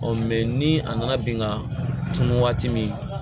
ni a nana bin ka tunun waati min